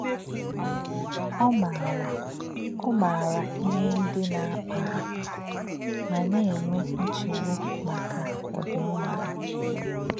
Ọ́ mà̄rà̄ Ọ́ mà̄rà̄ íhè̄ ndí̄ nā̄-àkpà̄ hà̄ mà̄ nā̄-ènwè̄ nchè̄gbú̄ màkà̄ ọ̀dìm̀má̄ hà̄.